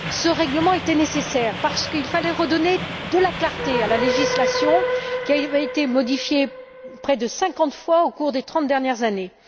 Ce règlement était nécessaire parce qu'il fallait redonner de la clarté à la législation, qui a été modifiée près de cinquante fois au cours des trente dernières années.